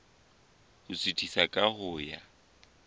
ho suthisa ka ho ya